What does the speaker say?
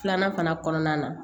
Filanan fana kɔnɔna na